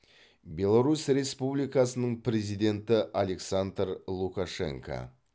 беларусь республикасының президенті александр лукашенко